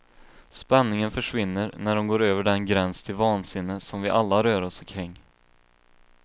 Spänningen försvinner när hon går över den gräns till vansinne som vi alla rör oss kring.